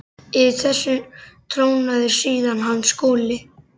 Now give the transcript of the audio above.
Yfir þessu trónaði síðan hann Skúli.